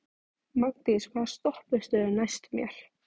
Magndís, hvaða stoppistöð er næst mér?